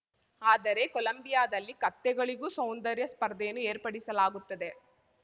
ಆದರೆ ಕೊಲಂಬಿಯಾದಲ್ಲಿ ಕತ್ತೆಗಳಿಗೂ ಸೌಂದರ್ಯ ಸ್ಪರ್ಧೆಯನ್ನು ಏರ್ಪಡಿಸಲಾಗುತ್ತದೆ